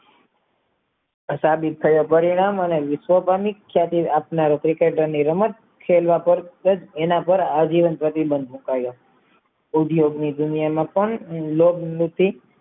સાબિત થયા પરિણામ અને વિશ્વ ગામીત સાથે આત્મ criketar ની રમત એના પાર હાજીવન પ્રતિબંધ ઉદ્યોગની દુનિયા માં પણ